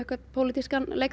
pólítískan leik